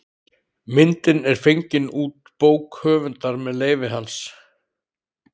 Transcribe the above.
Myndin er fengin út bók höfundar með leyfi hans.